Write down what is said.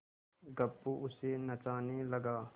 गप्पू उसे नचाने लगा